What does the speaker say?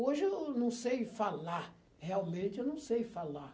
Hoje eu não sei falar, realmente eu não sei falar.